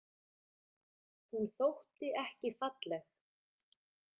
Hún þótti ekki falleg.